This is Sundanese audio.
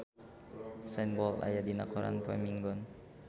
Usain Bolt aya dina koran poe Minggon